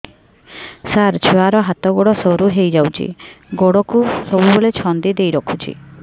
ସାର ଛୁଆର ହାତ ଗୋଡ ସରୁ ହେଇ ଯାଉଛି ଗୋଡ କୁ ସବୁବେଳେ ଛନ୍ଦିଦେଇ ରଖୁଛି